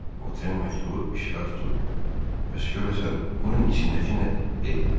Votren məktubu işığa tutub bəs görəsən bunun içindəki nədir dedi.